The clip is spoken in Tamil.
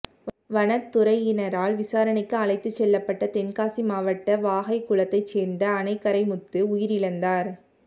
வனத் துறையினரால் விசாரணைக்கு அழைத்துச் செல்லப்பட்ட தென்காசி மாவட்டம் வாகைக்குளத்தைச் சோ்ந்த அணைக்கரைமுத்து உயிரிழந்தாா்